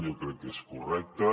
jo crec que és correcte